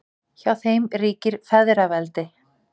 Hjá þeim ríkir feðraveldi.